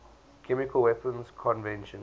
chemical weapons convention